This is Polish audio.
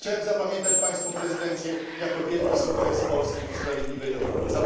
Chciałem zapamiętać Pańską prezydencję jako wielki sukces Polski w sprawiedliwej Europie.